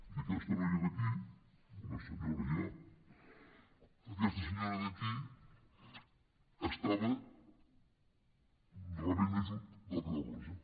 i aquesta noia d’aquí una senyora ja aquesta senyora d’aquí estava rebent ajut de la creu roja